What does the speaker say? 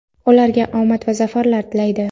ularga omad va zafarlar tilaydi!.